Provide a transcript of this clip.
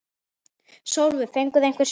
Sólveig: Fenguð þið einhver svör?